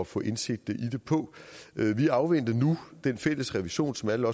få indsigt i det på vi afventer nu den fælles revision som alle